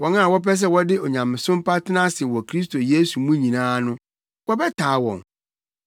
Wɔn a wɔpɛ sɛ wɔde onyamesom pa tena ase wɔ Kristo Yesu mu nyinaa no, wɔbɛtaa wɔn,